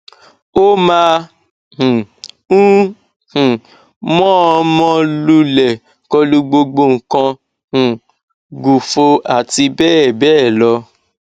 ó máa um ń um mọọnmọ lulẹ kọlu gbogbo nǹkan um gù fò àti bẹẹ bẹẹ lọ